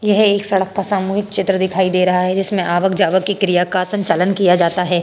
यह एक सड़क का सामूहिक चित्र दिखाई दे रहा है जिसमे आवक जावक की क्रिया का संचालन किया जाता है।